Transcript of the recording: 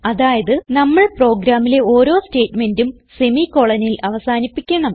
അതായത് നമ്മൾ പ്രോഗ്രാമിലെ ഓരോ സ്റ്റേറ്റ്മെന്റും semicolonൽ അവസാനിപ്പിക്കണം